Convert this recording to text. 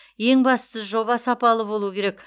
ең бастысы жоба сапалы болу керек